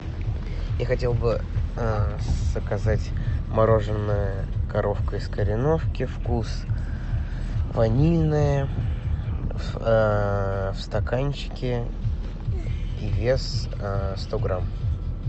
я хотел бы заказать мороженое коровка из кореновки вкус ванильное в стаканчике и вес сто грамм